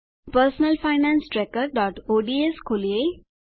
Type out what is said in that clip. personal finance trackerઓડ્સ ખોલીએ